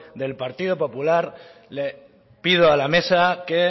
del partido popular le pido a la mesa que